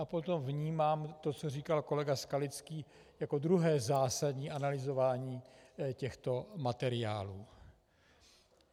A potom vnímám to, co říkal kolega Skalický, jako druhé zásadní analyzování těchto materiálů.